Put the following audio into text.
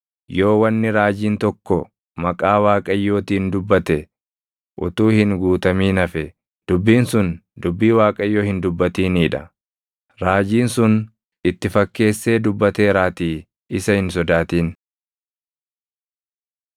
Yoo wanni raajiin tokko maqaa Waaqayyootiin dubbate utuu hin guutamin hafe, dubbiin sun dubbii Waaqayyo hin dubbatinii dha. Raajiin sun itti fakkeessee dubbateeraatii isa hin sodaatin.